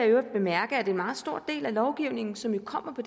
øvrigt bemærke at en meget stor del af lovgivningen som jo kommer på